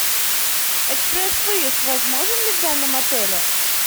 экспресс выезд возможен ли в данном отеле